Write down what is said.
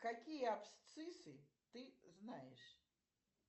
какие абсциссы ты знаешь